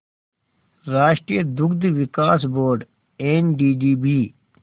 राष्ट्रीय दुग्ध विकास बोर्ड एनडीडीबी